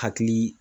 Hakili